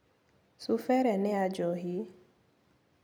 Cuba ĩrĩa nĩ ya njohi.